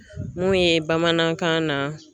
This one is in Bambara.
Mun ye bamanankan na